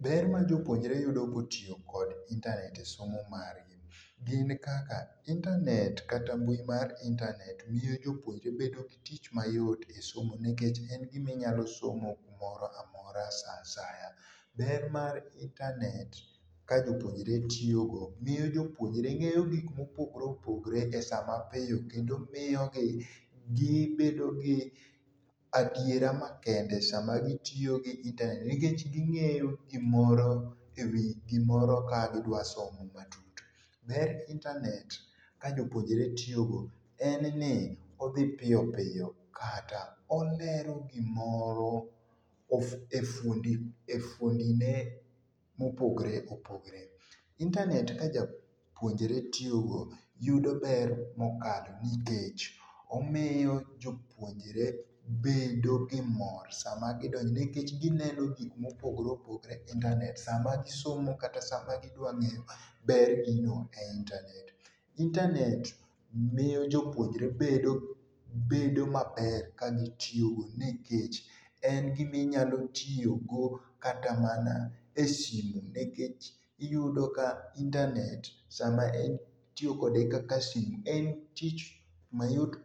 Ber ma jopuonjre yudo kotiyo gi internet e somo margi ,gin kaka internet kata mbui mar internet miyo jopuonjre bedo gi tich mayot e somo nikech en gima inyalo somo gimoro amora saa asaya. Ber mar internet ka jopuonjre tiyo miyo jopuonjre ngeyo gik ma opogore opogore esama beyo kendo miyogi gibedo gi adiera makende esama gitiyo gi i internet nikech gimoyo gimoro ewi gimoro ka gidwa somo matut. Ber internet ka jopuonjre tiyogo en ni odhi piyo piyo kata olero gimoro e fuondi e fuondi ne opogore opogore. internet ka japionjre tiyogo yudo ber mokalo nikech omiyo jopuonjre bedo gi mor sama gidonje nikech gineno gikam opogore opogore e internet sama gisomo kata gidwa ngeyo ber gino e internet . internet miyo jopuonjre bedo bedo maber ka gitiyo go nikech en gim ainyalo tiyogo kata mana e simu nikech iyudo ka internet sama itiyo kode kaka simu en tich mayot